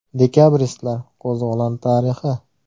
Dekabristlar qo‘zg‘oloni tarixi.